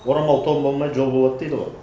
орамал тон болмайды жол болады дейді ғой